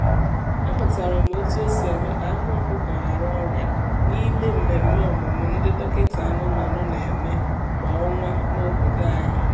amụtara m otu esi eme ka anụ ọkụkọ ghara ọrịa n’ime mmemme ọmụmụ ndị dọkịta anụmanụ na-eme kwa ọnwa n’obodo anyị